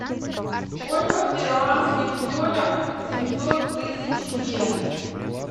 сколько в перуанских солях семьсот тысяч йен